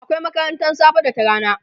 akwai makarantan safe da ta rana